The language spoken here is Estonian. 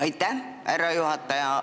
Aitäh, härra juhataja!